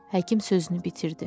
Həkim sözünü bitirdi.